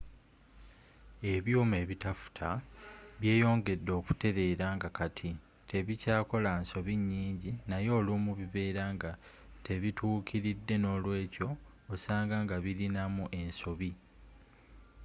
ebyuma eitafuta byeyongedde okutelela nga kati tebikyakola nsobi nyingi nayeolumu bibera nga tebitukilidde n'olwekyo ossanga nga bilinamu ensobi